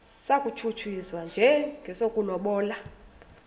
satshutshiswa njengesi sokulobola